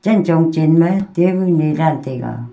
chen chong chenna table nee daan taiga.